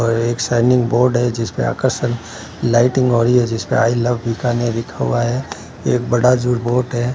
और एक सैनिक बोर्ड है जिसपे आकर्षक लाइटिंग हो रही है जिसपे आई लव बीकानेर लिखा हुआ है एक बड़ा है।